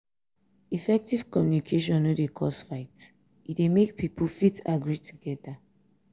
effective communication no dey cause fight e de make pipo fit agree together